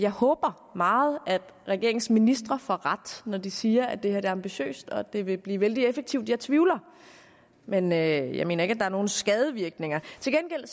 jeg håber meget at regeringens ministre får ret når de siger at det her er ambitiøst og at det vil blive vældig effektivt jeg tvivler men jeg mener ikke at det har nogen skadevirkninger til gengæld